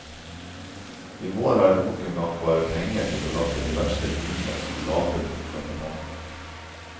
I vår er det nok en gang bare penger til å lappe de verste hullene som gaper mot trafikantene.